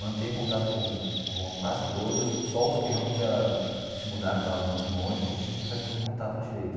Mantenho contato com com quase todos, só os que realmente já se mudaram para muito longe que a gente não consegue manter contato direito.